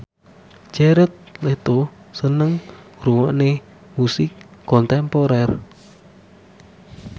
Jared Leto seneng ngrungokne musik kontemporer